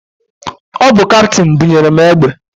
Ọ bụ kaptịn bunyere mụ egbe.